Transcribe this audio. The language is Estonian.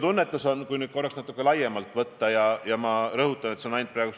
Ta ütles, et ülikoolis on moodustatud komisjon, kes peab asjade arengut monitoorima ja hinnanguid andma.